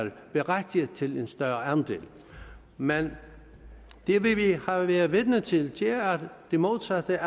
berettiget til en større andel men det vi har været vidne til er det modsatte